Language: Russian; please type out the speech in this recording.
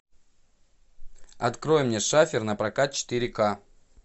открой мне шафер напрокат четыре ка